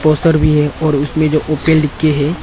Poster भी है और उसमें जो ओपन लिख के है।